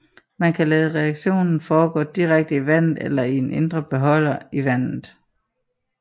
Man kan lade reaktionen forgå direkte i vandet eller i en indre beholder i vandet